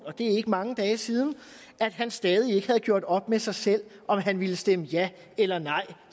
og det er ikke mange dage siden at han stadig ikke havde gjort op med sig selv om han ville stemme ja eller nej